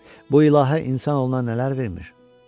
Bu ilahi insanoğluna nələr vermir!